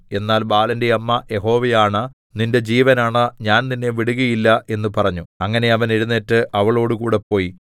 എന്നാൽ ബാലന്റെ അമ്മ യഹോവയാണ നിന്റെ ജീവനാണ ഞാൻ നിന്നെ വിടുകയില്ല എന്ന് പറഞ്ഞു അങ്ങനെ അവൻ എഴുന്നേറ്റ് അവളോടുകൂടെ പോയി